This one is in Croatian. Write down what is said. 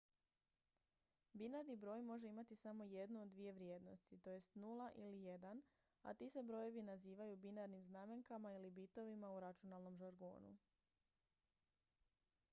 binarni broj može imati samo jednu od dvije vrijednosti tj 0 ili 1 a ti se brojevi nazivaju binarnim znamenkama ili bitovima u računalnom žargonu